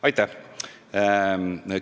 Aitäh!